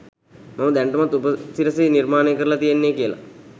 මම දැනටමත් උපසිරසි නිර්මාණය කරලා තියෙන්නේ කියලා